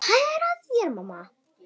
Hvað er að þér, mamma?